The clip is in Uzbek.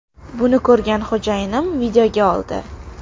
Buni ko‘rgan xo‘jayinim videoga oldi.